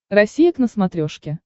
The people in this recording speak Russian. россия к на смотрешке